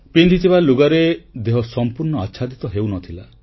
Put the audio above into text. ପିନ୍ଧିଥିବା ଲୁଗାରେ ଦେହ ସମ୍ପୂର୍ଣ୍ଣ ଆଚ୍ଛାଦିତ ହେଉନଥିଲା